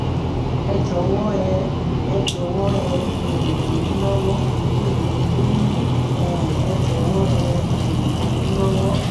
ẹ jọ̀wọ́ ẹ ẹ jọ̀wọ́ ẹ um ràn mí lọ́wọ́; mi ò lè lóyún! um ẹ jọ̀wọ́ ẹ um ràn mí lọ́wọ́!!